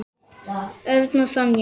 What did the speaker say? Örn og Sonja.